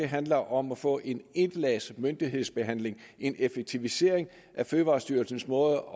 handler om at få en etlags myndighedsbehandling en effektivisering af fødevarestyrelsens måde